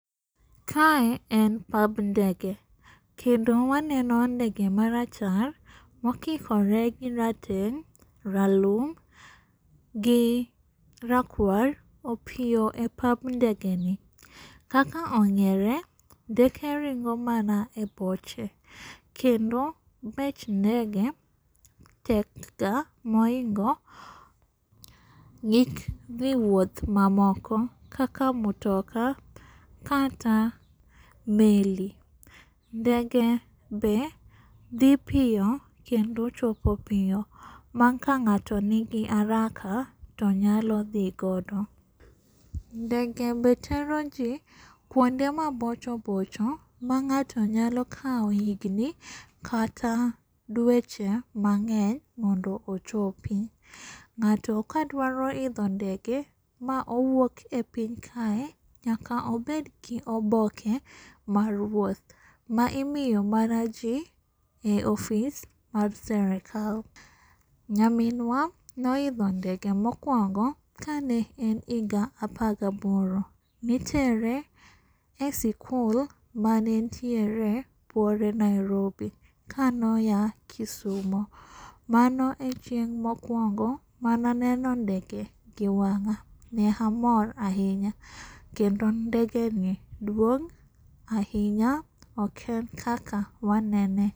Kae en pab ndege, kendo waneno ndege marachar mokikore gi rateng', ralum gi rakwar opiyo e pab ndegeni. Kaka ong'ere ndeke ringo mana e boche, kendo bech ndege tekga mohingo mek dhi wuoth mamoko kaka mtoka kata meli. Ndege be dhi piyo kendo chopo piyo, ma kang'ato nigi araka tonyalo dhigodo. Ndege be teroji kuonde mabocho bocho mang'ato nyalo kao higni kata dweche mang'eny mondo ochopi. Nga'to ka dwaro idho ndege maowuok e piny kae, nyaka obedgi oboke mar wuoth, maimiyo mana jii e ofis mar serikal. Nyaminwa noidho ndege mokuongo kane en higa apar gi aboro, nitere e sikul mane ntiere buore Nairobi kano ya Kisumo, mano e chieng' mokuongo mananeno ndege e wang'a, ne amor ahinya, kendo ndege ni duong' ahinya, oken kaka wanene.